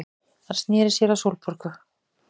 Hann sneri sér að Sólborgu.